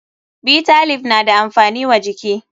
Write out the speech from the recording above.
Bitter leaf na da amfani wa jiki fa.